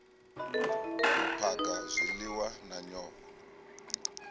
u phaga zwiliwa na nyofho